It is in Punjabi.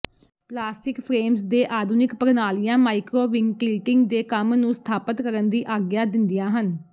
ਪਲਾਸਟਿਕ ਫਰੇਮਸ ਦੇ ਆਧੁਨਿਕ ਪ੍ਰਣਾਲੀਆਂ ਮਾਈਕਰੋਵਿਨਟਿਲਟਿੰਗ ਦੇ ਕੰਮ ਨੂੰ ਸਥਾਪਤ ਕਰਨ ਦੀ ਆਗਿਆ ਦਿੰਦੀਆਂ ਹਨ